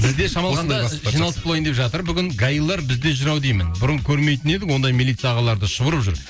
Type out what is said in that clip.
бізде шамалғанда жиналыс болайын деп жатыр бүгін гаилар бізде жүр ау деймін бұрын көрмейтін едік ондай милиция ағаларды шұбырып жүр